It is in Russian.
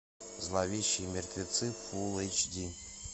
зловещие мертвецы фулл эйч ди